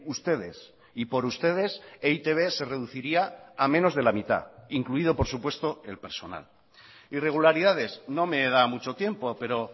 ustedes y por ustedes e i te be se reduciría a menos de la mitad incluido por supuesto el personal irregularidades no me da mucho tiempo pero